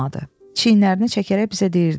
Çiyinlərini çəkərək bizə deyirdi: